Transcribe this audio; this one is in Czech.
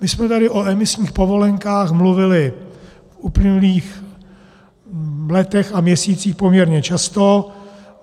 My jsme tady o emisních povolenkách mluvili v uplynulých letech a měsících poměrně často.